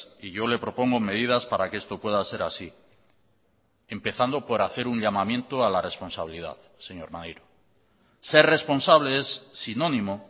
y yo le propongo medidas para que esto pueda ser así empezando por hacer un llamamiento a la responsabilidad señor maneiro ser responsable es sinónimo